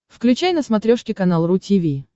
включай на смотрешке канал ру ти ви